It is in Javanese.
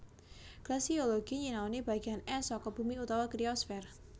Glasiologi nyinaoni bagéan ès saka bumi utawa kriosfèr